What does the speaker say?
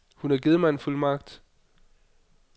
Hun har givet mig en fuldmagt.